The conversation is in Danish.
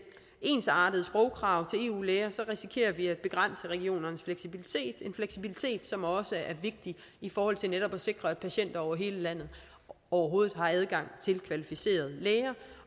ensartede sprogkrav til eu læger risikerer vi at begrænse regionernes fleksibilitet en fleksibilitet som også er vigtig i forhold til netop at sikre at patienter over hele landet overhovedet har adgang til kvalificerede læger